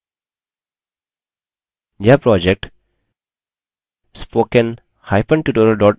यह project